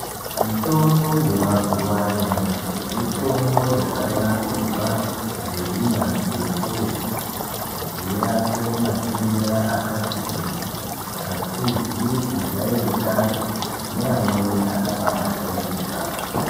Mitombo yemazuva anyamashi mitombo yakanasirwa ngeunyanzvi hukurutu. Kuti irape matenda akati kuti asizi kujairikapi neanweni akabajairika.